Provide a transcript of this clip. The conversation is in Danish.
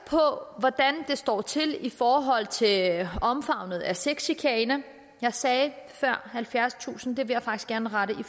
på hvordan det står til i forhold til omfanget af sexchikane jeg sagde før halvfjerdstusind vil jeg faktisk gerne rette